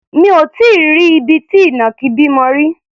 Mi ò tí í rí ibi tí ìnàkí bímọ rí.